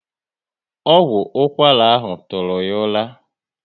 Ọgwụ ụkwara ahụ tụrụ ya ụra